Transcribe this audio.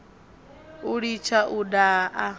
u litsha u daha a